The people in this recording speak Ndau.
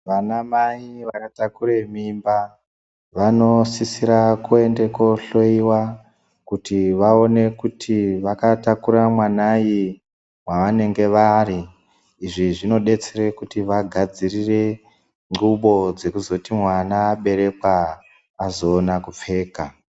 Vana mai vakatakure mimba vanosisira kuende kohloyiwa kuti vaone kuti vakatakura mwanai mwavanenge vari izvi zvinoitire kuti vagadzirire ndxubo dzekuzoti mwana aberekwa azoona kuzopfeka.